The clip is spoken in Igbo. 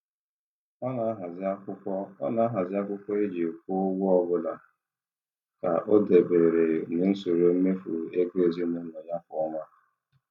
Ọ na-ahazi akwụkwọ Ọ na-ahazi akwụkwọ e ji kwụọ ụgwọ ọbụla ka ọ dabere n'usoro mmefu ego ezinụụlọ ya kwa ọnwa.